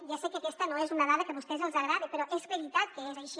ja sé que aquesta no és una dada que a vostès els agradi però és veritat que és així